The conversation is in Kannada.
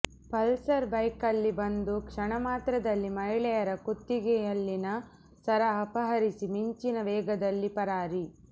ಪಲ್ಸರ್ ಬೈಕ್ನಲ್ಲಿ ಬಂದು ಕ್ಷಣಮಾತ್ರದಲ್ಲಿ ಮಹಿಳೆಯರ ಕುತ್ತಿಗೆಯಲ್ಲಿನ ಸರ ಅಪಹರಿಸಿ ಮಿಂಚಿನ ವೇಗದಲ್ಲಿ ಪರಾರಿ